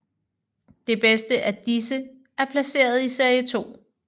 Det bedste af disse er placeret i serie 2